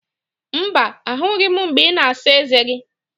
Mba, ahụghị m mgbe ị na-asa eze gị